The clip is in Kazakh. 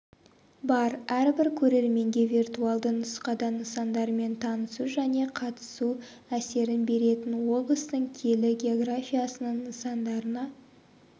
бар әрбір көрерменге виртуалды нұсқада нысандармен танысу және қатысу әсерін беретін облыстың киелі географиясының нысандарына